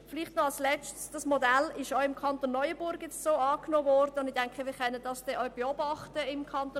Dieses Modell ist auch im Kanton Neuenburg angenommen worden.